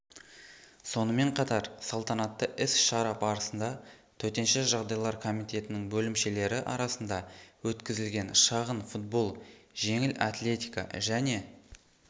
сонымен қатар салтанатты іс-шара барысында төтенше жағдайлар комитетінің бөлімшелері арасында өткізілген шағын футбол жеңіл атлетика және